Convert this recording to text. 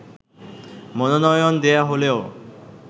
মনোনয়ন দেয়া হলেও